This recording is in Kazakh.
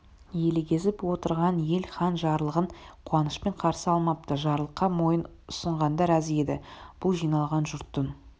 елегізіп отырған ел хан жарлығын қуанышпен қарсы алмапты жарлыққа мойын ұсынғандар аз еді бұл жиналған жұрттың